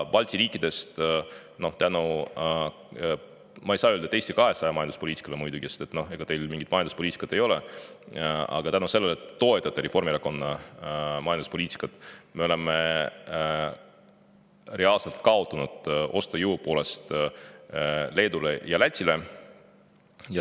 Balti riikidest, ma ei saa muidugi öelda, et tänu Eesti 200 majanduspoliitikale, sest ega teil mingit majanduspoliitikat ei olegi, aga tänu sellele, et te toetate Reformierakonna majanduspoliitikat, me reaalselt kaotame ostujõu poolest Leedule ja Lätile.